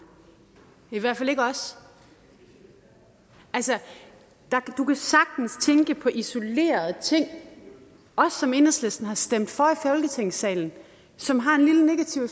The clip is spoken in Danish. jeg hvert fald ikke os altså du kan sagtens tænke på isolerede ting som enhedslisten har stemt for folketingsalen som har en lille negativ